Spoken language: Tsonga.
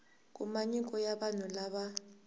kuma nyiko ya vanhu lava